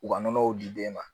U ka nɔnɔw di den ma